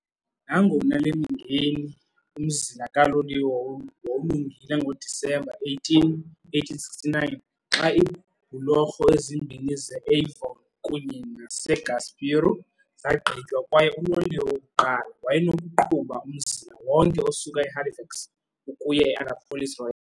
Nangona le mingeni, umzila kaloliwe wawulungile ngoDisemba 18, 1869, xa iibhulorho ezimbini ze-Avon kunye neGaspereau zagqitywa kwaye uloliwe wokuqala wayenokuqhuba umzila wonke osuka eHalifax ukuya e-Annapolis Royal.